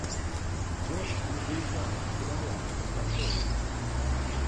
джон легуизамо кинолента открой мне